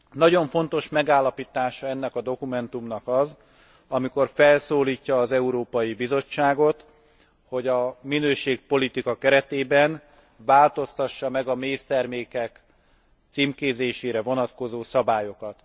Nagyon fontos megállapítása ennek a dokumentumnak az, amikor felszólítja az Európai Bizottságot, hogy a minőségpolitika keretében változtassa meg a méztermékek címkézésére vonatkozó szabályokat.